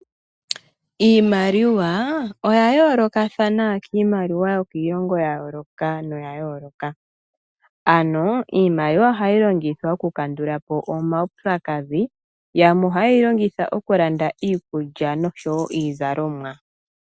Iimaliwa oya yoolokathana kiimaliwa yokiilongo ya yooloka noya yooloka, ano iimaliwa ohayi longithwa okukandula po omaupyakadhi. Yamwe ohaye yi longitha okulanda iikulya noshowo iizalomwa.